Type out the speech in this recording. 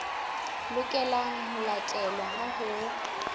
lokelang ho latelwa ha ho